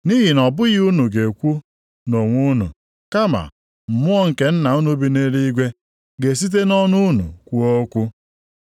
Nʼihi na ọ bụghị unu ga-ekwu nʼonwe unu. Kama Mmụọ nke Nna unu bi nʼeluigwe ga-esite nʼọnụ unu kwuo okwu.